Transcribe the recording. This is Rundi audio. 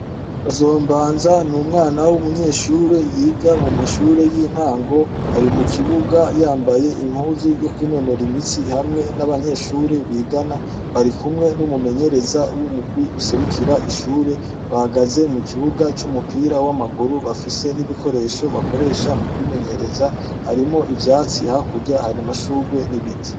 Bazombanza n'umwana w'umunyeshure yiga mu mashure y'intango, ari mu kibuga yambaye impuzu yo kwinonora imitsi hamwe n'abanyeshure bigana barikumwe n'umumenyereza w'umugwi userukira ishure, bahagaze mu kibuga c'umupira w'amaguru bafise n'igikoresho bakoresha mu kwimenyereza ,harimwo ivyatsi hakurya haramashurwe n'ibiti.